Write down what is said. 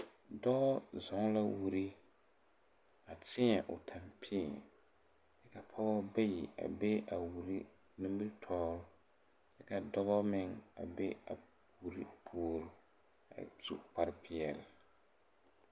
Dɔɔ zɔɔ la wiri a tēɛ o tampii ka pɔɔbɔ bayi a ve a wiri nimitoore kyɛ ka dɔbɔ meŋ a ve a wiri puore a su kparepeɛɛli.